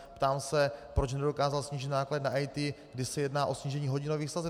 Ptám se, proč nedokázal snížit náklady na IT, když se jedná o snížení hodinových sazeb?